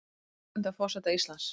Undrandi á forseta Íslands